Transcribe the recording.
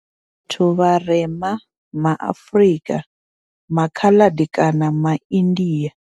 Vhathu vharema ma Afrika, ma Khaladi kana ma India.